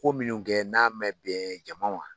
Ko minnu kɛ n'a mɛn bɛn ɲɛmaa.